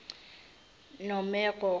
nomeroro